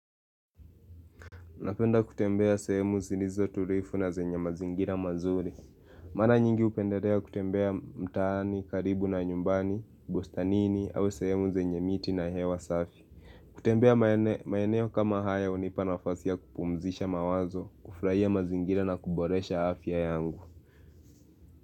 Napenda kutembea sehemu zilizo tulivu na zenye mazingira mazuri. Mara nyingi hupendelea kutembea mtaani, karibu na nyumbani, bustanini au sehemu zenye miti na hewa safi. Kutembea maeneo kama hayo hunipa nafasi ya kupumzisha mawazo, kufurahia mazingira na kuboresha afya yangu.